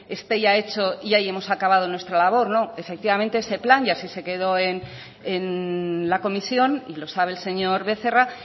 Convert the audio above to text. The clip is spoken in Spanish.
esté ya hecho y ahí hemos acabado nuestra labor no efectivamente ese plan y así se quedó en la comisión y lo sabe el señor becerra